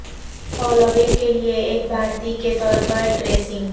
Halloween کے لئے ایک بھارتی کے طور پر ڈریسنگ